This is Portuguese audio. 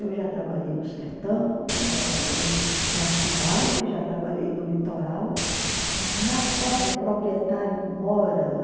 Eu já trabalhei no sertão, já trabalhei na cidade, já trabalhei no litoral, mas na serra o proprietário mora lá.